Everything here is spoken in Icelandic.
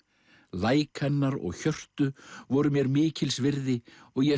læk hennar og hjörtu voru mér mikils virði og ég